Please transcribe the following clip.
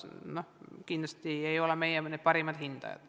Kindlasti ei ole meie parimad, ütleme, mõjususe hindajad.